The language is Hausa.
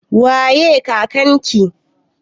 Waye kakan ki?